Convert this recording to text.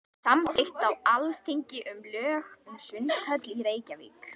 Samþykkt á Alþingi lög um sundhöll í Reykjavík.